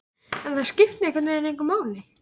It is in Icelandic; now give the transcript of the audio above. En það skipti einhvern veginn engu máli.